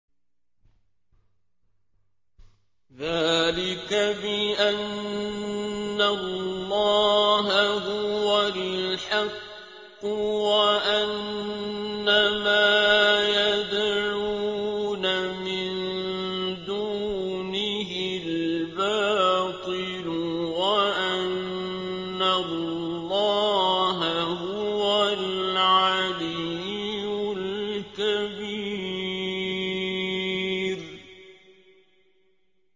ذَٰلِكَ بِأَنَّ اللَّهَ هُوَ الْحَقُّ وَأَنَّ مَا يَدْعُونَ مِن دُونِهِ الْبَاطِلُ وَأَنَّ اللَّهَ هُوَ الْعَلِيُّ الْكَبِيرُ